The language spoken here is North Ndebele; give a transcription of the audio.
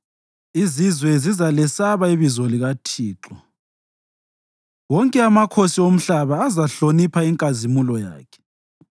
Izizwe zizalesaba ibizo likaThixo, wonke amakhosi omhlaba azahlonipha inkazimulo yakhe.